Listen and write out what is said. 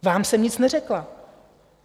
Vám jsem nic neřekla.